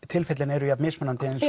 tilfellin eru jafn mismunandi eins